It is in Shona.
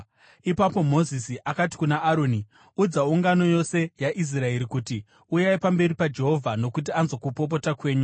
Ipapo Mozisi akati kuna Aroni, “Udza ungano yose yaIsraeri kuti, ‘Uyai pamberi paJehovha, nokuti anzwa kupopota kwenyu.’ ”